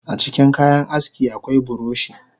Acikin kayan aski akwai buroshi